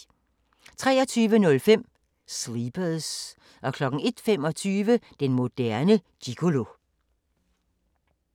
23:05: Sleepers 01:25: Den moderne gigolo